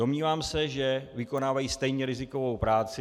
Domnívám se, že vykonávají stejně rizikovou práci.